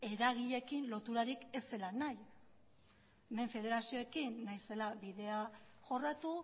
eragileekin loturarik ez zela nahi federazioekin nahi zela bidea jorratu